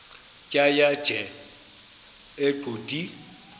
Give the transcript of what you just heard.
tjhaya nje iqondee